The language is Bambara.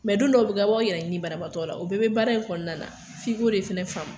Mɛ don dɔw bɛ kɛ, a b'aw yɛrɛ ɲini banabagatɔ la, o bɛɛ bɛ baara in kɔnɔna na , f'i ko de faamuya.